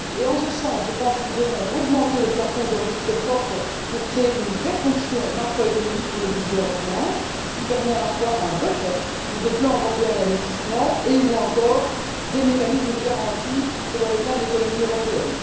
Et en ce sens, je pense que nous devons augmenter le plafond de ressources propres pour créer une vraie fonction macroéconomique pour le budget européen, ce qui permet à la fois un buffer ou des plans européens d'investissement et ou encore des mécanismes de garantie selon l'état de l'économie européenne.